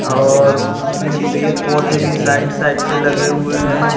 और उसमें पेड़ पौधे भी साइड साइड से लगे हुए हैं।